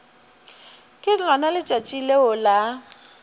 ke lona letšatši leo la